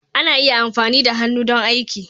Ana iya amfani da hannu don aiki.